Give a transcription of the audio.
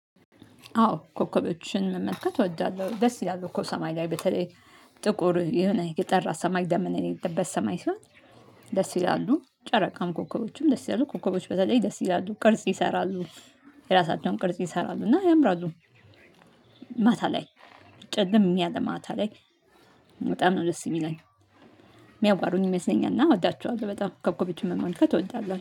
አዎ ኮከቦችን መመልከት እወዳለሁ። ደስ ይላል እኮ ሰማይ ላይ በተለይ ጥቁር የሆነ የጠራ ሰማይ ደመና የሌለበት ሰማይ ሲሆን። ደስ ይላሉ ጨረቃም ኮከቦችም ደስ ይላሉ ኮከቦች በተለይ ደስ ይላሉ ቅርጽ ይሰራሉ የራሳቸውን ቅርጽ ይሰራሉ እና ያምራሉ። ማታ ላይ ጨለም ያለ ማታ ላይ በጣም ነው ደስ የሚለኝ። የሚያዋሩኝ ይመስለኛል እና እወዳቸዋለሁ በጣም ኮከቦችን መመልከት እወዳለሁ